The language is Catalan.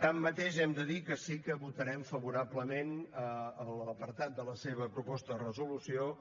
tanmateix hem de dir que sí que votarem favorablement l’apartat de la seva proposta de resolució